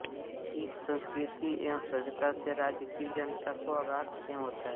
इस संस्कृति एवं सभ्यता से राज्य की जनता को अगाध प्रेम होता है